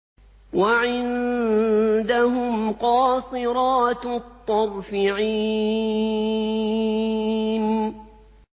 وَعِندَهُمْ قَاصِرَاتُ الطَّرْفِ عِينٌ